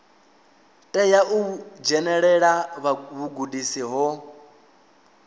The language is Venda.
tea u dzhenelela vhugudisi ho